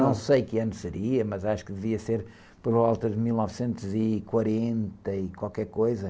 Não sei que ano seria, mas acho que devia ser por volta de mil novecentos e quarenta e qualquer coisa.